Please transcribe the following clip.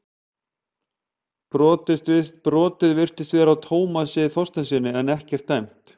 Brotið virtist vera á Tómasi Þorsteinssyni en ekkert dæmt.